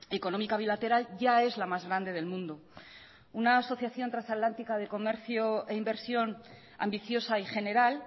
económica bilateral ya es la más grande del mundo una asociación transatlántica de comercio e inversión ambiciosa y general